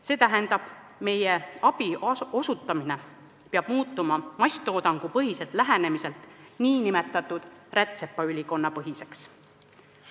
See tähendab, et meie abi osutamine peab muutuma masstoodangupõhiselt lähenemiselt n-ö rätsepaülikonnapõhiseks.